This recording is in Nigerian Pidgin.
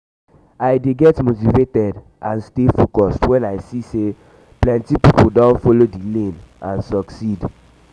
i dey get motivated and stay focused when i see say plenty people don follow di lane and succeed.